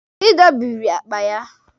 Ị dọbịrị akpa ya.